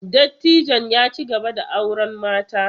Dattijon ya ci gaba da auren mata.